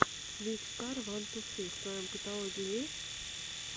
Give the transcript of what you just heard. викстар ван ту фри в твоем каталоге есть